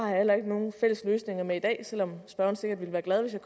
heller ikke nogen fælles løsning med i dag selv om spørgeren sikkert ville være glad hvis jeg